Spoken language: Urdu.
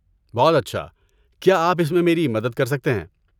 بہت اچھا! کیا آپ اس میں میری مدد کر سکتے ہیں؟